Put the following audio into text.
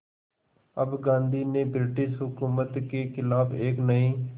अब गांधी ने ब्रिटिश हुकूमत के ख़िलाफ़ एक नये